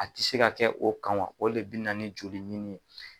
A ti se ka kɛ o kan wa o de bi na jni oli ɲini ye